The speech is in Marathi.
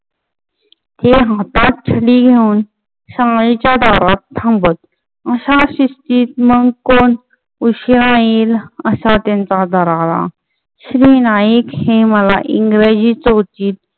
ते हातात छडी घेऊन शाळेच्या दारात थांबत. अशा शिस्तीत मग कोण उशिरा येईल असा त्यांचा दरारा. श्री नाईक हे मला इंग्रजी चौथीत